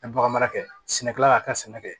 A ye bagan mara kɛ sɛnɛkɛla y'a kɛ sɛnɛ kɛ